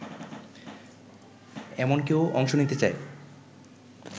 এমন কেউ অংশ নিতে চায়